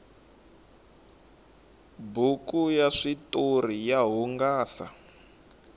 buku ya switoriya hungata